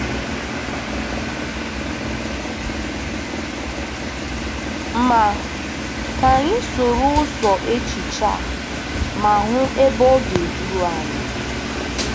Ma ka anyị soro ụzọ echiche a ma hụ ebe ọ ga-eduru anyị.